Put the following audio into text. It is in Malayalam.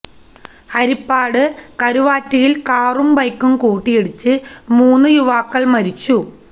ഹരിപ്പാട് കരുവാറ്റയില് കാറും ബൈക്കും കൂട്ടിയിടിച്ച് മൂന്ന് യുവാക്കള് മരിച്ചു